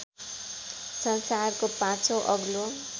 संसारको पाँचौँ अग्लो